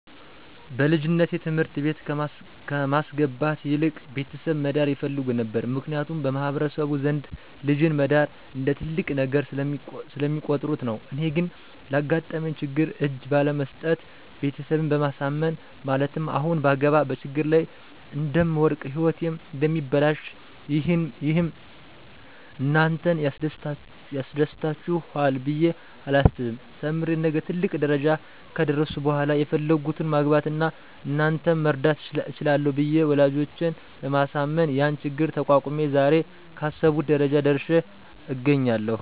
በልጅነቴ ትምህርት ቤት ከማስገባት ይልቅ ቤተሰብ መዳር ይፈልጉ ነበር ምክንያቱም በማህበረሰቡ ዘንድ ልጅን መዳር እንደ ትልቅ ነገር ስለሚቆጥሩት ነው። እኔ ግን ላጋጠመኝ ችግር እጅ ባለመስጠት ቤተሰብን በማሳመን ማለትም አሁን ባገባ በችግር ላይ እደምወድቅ ህይወቴም እደሚበላሽ ይህም እናንተን ያስደስታችሇል ብየ አላስብም ተምሬ ነገ ትልቅ ደረጃ ከደረስሁ በሇላ የፈለግሁትን ማግባት አና እናንተንም መርዳት እችላለሁ ብየ ወላጆቸን በማሳመን ያን ችግር ተቋቁሜ ዛሬ ካሰብሁት ደረጃ ላይ ደርሽ አገኛለሁ።